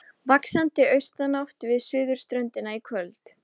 Vaxandi austanátt við suðurströndina í kvöld